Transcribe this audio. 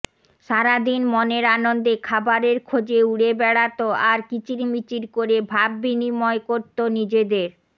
সারাদিন মনের আনন্দে খাবারের খোঁজে উড়ে বেড়াত আর কিচিরমিচির করে ভাববিনিময় করত নিজেদের